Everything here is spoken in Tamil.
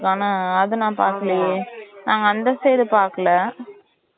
ஆனா அத நான் பாக்கலையே நாங்க அந்த side பாக்கல